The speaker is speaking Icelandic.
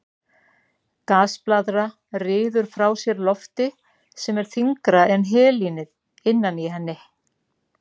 Gasblaðra ryður frá sér lofti sem er þyngra en helínið innan í henni.